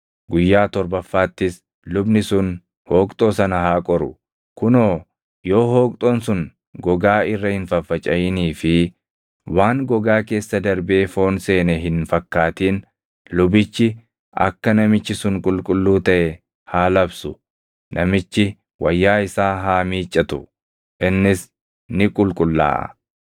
Guyyaa torbaffaattis lubni sun hooqxoo sana haa qoru; kunoo yoo hooqxoon sun gogaa irra hin faffacaʼinii fi waan gogaa keessa darbee foon seene hin fakkaatin lubichi akka namichi sun qulqulluu taʼe haa labsu; namichi wayyaa isaa haa miiccatu; innis ni qulqullaaʼa.